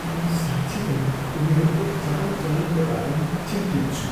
म साँच्चिकै उनीहरूको चालचलनका बारेमा चिन्तित छु।